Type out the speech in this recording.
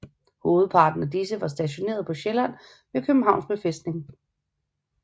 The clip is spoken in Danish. Hovedparten af disse var stationeret på Sjælland ved Københavns befæstning